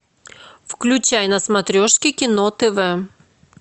включай на смотрешке кино тв